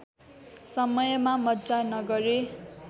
समयमा मज्जा नगरे